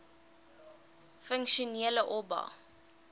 funksionele oba